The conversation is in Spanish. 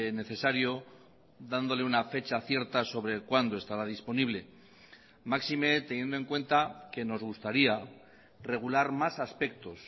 necesario dándole una fecha cierta sobre cuándo estará disponible máxime teniendo en cuenta que nos gustaría regular más aspectos